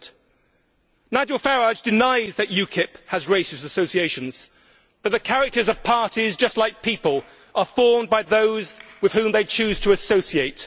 Nigel Farage denies that UKIP has racist associations, but the characters of parties, just like people, are formed by those with whom they choose to associate.